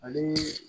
Ani